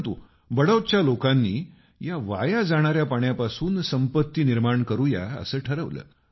परंतु बडौतच्या लोकांनी या वाया जाणाऱ्या पाण्यापासून संपत्ती निर्माण करू या असं ठरवलं